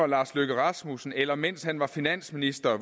lars løkke rasmussen eller mens han var finansminister